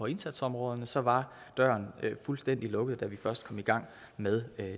indsatsområderne så var døren fuldstændig lukket da vi først kom i gang med